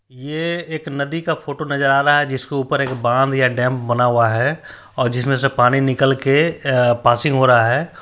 ये एक नदी का फोटो नजर आ रहा है जिसको ऊपर एक बांध या डैम बना हुआ है और जिसमें से पानी निकल के आ पासिंग हो रहा है।